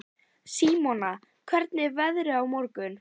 Símona, hvernig er veðrið á morgun?